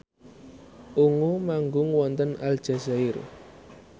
Ungu manggung wonten Aljazair